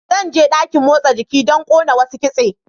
Zan je dakin motsa jiki don ƙona wasu kitse.